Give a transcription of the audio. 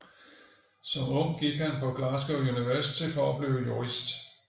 Som ung gik han på Glasgow University for at blive jurist